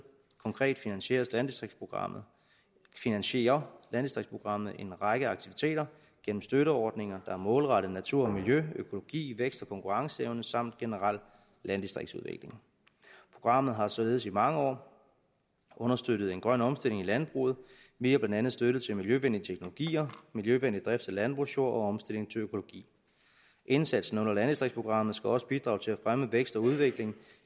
konkret finansierer landdistriktsprogrammet finansierer landdistriktsprogrammet en række aktiviteter gennem støtteordninger der er målrettet natur og miljø økologi vækst og konkurrenceevne samt generel landdistriktsudvikling programmet har således i mange år understøttet en grøn omstilling i landbruget via blandt andet støtte til miljøvenlige teknologier miljøvenlig drift af landbrugsjord og omstilling til økologi indsatsen under landdistriktsprogrammet skal også bidrage til at fremme vækst og udvikling